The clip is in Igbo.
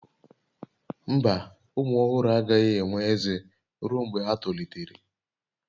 Mba, ụmụ ọhụrụ agaghị enwe ezé ruo mgbe ha tolitere